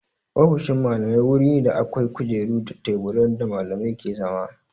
Ofishin Mallamai wuri ne da akwai kujeru da teburan da Mallamai ke zama.